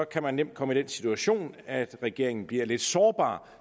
kan man nemt komme i den situation at regeringen bliver lidt sårbar